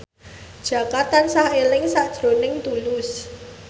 Jaka tansah eling sakjroning Tulus